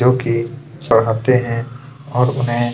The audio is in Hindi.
जो की पढ़ते है और उन्है --